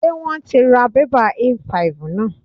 Ṣé wón ti ra bébà A5 náà?